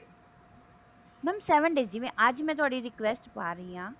mam seven days ਜਿਵੇਂ ਅੱਜ ਮੈਂ ਤੁਹਾਡੀ request ਪਾ ਰਹੀ ਹਾਂ